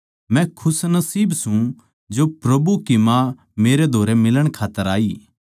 मै खुशनसीब सूं जो प्रभु की माँ मेरै धोरै मिलण खात्तर आई